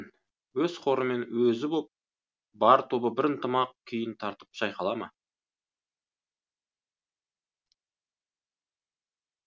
өз хорымен өзі боп бар тобы бір ынтымақ күйін тартып шайқала ма